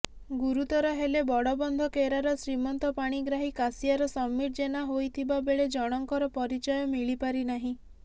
ଗୁରୁତର ହେଲେ ବଡବନ୍ଧକେରାର ଶ୍ରୀମନ୍ତ ପାଣିଗ୍ରାହୀ କାଶିଆର ସମୀର ଜେନା ହୋଇଥିବା ବେଳେ ଜଣଙ୍କର ପରିଚୟ ମିଳିପାରିନାହିଁ